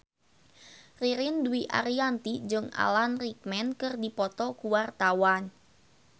Ririn Dwi Ariyanti jeung Alan Rickman keur dipoto ku wartawan